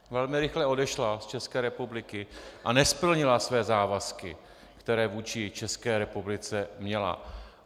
Velmi rychle odešla z České republiky a nesplnila své závazky, které vůči České republice měla.